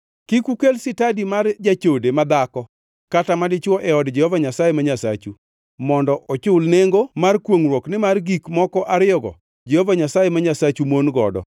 Kik ukel sitadi mar jachode madhako kata madichwo e od Jehova Nyasaye ma Nyasachu mondo ochul nengo mar kwongʼruok nimar gik moko ariyogo Jehova Nyasaye ma Nyasachu mon godo.